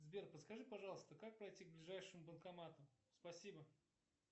сбер подскажи пожалуйста как пройти к ближайшему банкомату спасибо